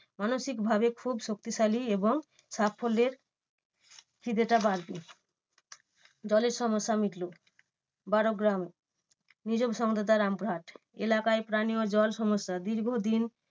মানসিক ভাবে খুব শক্তিশালী এবং সাফল্যের খিদেটা বাড়বে দলের সমস্যা মিটবে। বারোগ্রাম নিজস্ব সংবাদদাতা রামপুরহাট, এলাকায় পানিও জল সমস্যা দীর্ঘদিন